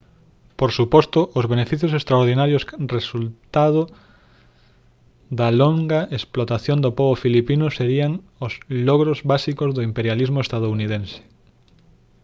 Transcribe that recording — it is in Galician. por suposto os beneficios extraordinarios resultado da longa explotación do pobo filipino serían os logros básicos do imperialismo estadounidense